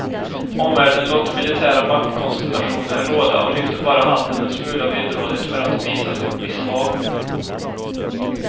Omvärlden låter militära maktkonstellationer råda och lyfter bara handen en smula villrådigt för att visa sitt misshag.